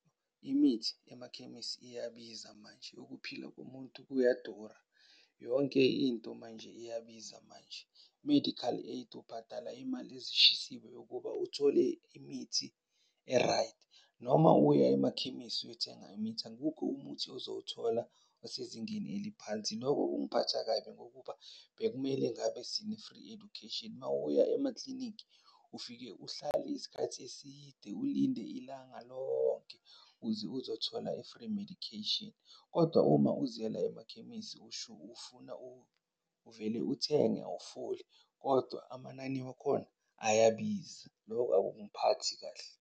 Imithi yamakhemisi iyabiza manje, ukuphila komuntu kuyadura. Yonke into manje iyabiza manje. I-medical aid ubhatala imali ezishisiwe yokuba uthole imithi e-right. Noma uya emakhemisi uyothenga imithi, akukho umuthi ozowuthola osezingeni eliphansi. Loko kungiphatha kabi ngokuba bekumele ngabe sine-free education. Uma uya emaklinikhi, ufike uhlale isikhathi eside ulinde ilanga lonke ukuze uzothola i-free medication. Kodwa uma uziyela emakhemisi ufuna uvele uthenge awufoli, kodwa amanani wakhona ayabiza. Loko akungiphathi kahle.